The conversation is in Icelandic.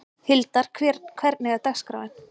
Hildar, hvernig er dagskráin?